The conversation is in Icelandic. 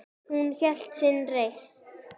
Hún hélt sinni reisn.